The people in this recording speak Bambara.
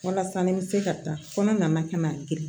Walasa ni bɛ se ka taa kɔnɔ nana ka na girin